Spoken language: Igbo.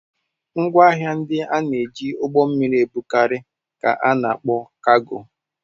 Ngwaahịa ndị a na-eji ụgbọ mmiri ebugharị ka a na-akpọ kaago.